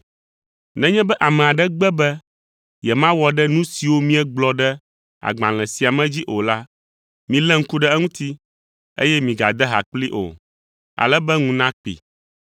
Nenye be ame aɖe gbe be yemawɔ ɖe nu siwo míegblɔ ɖe agbalẽ sia me dzi o la, milé ŋku ɖe eŋuti, eye migade ha kplii o, ale be ŋu nakpee.